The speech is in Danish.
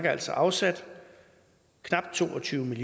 altså afsat knap to og tyve